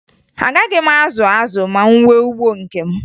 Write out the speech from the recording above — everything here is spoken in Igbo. Agaghị m azụ azụ ma m nwee ugbo nke m